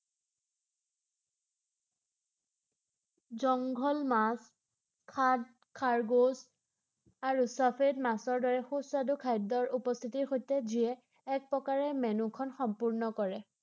জংঘল, মাছ, খাদ খৰগোচ আৰু ছফেদ মাছৰ দৰে সু-স্বাদু খাদ্যৰ উপস্থিতিৰ সৈতে যিয়ে এক প্ৰকাৰে মেনুখন সম্পূৰ্ণ কৰে ৷